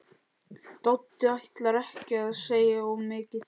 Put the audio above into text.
Doddi ætlar ekki að segja of mikið.